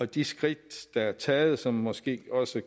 de skridt der er taget og som måske også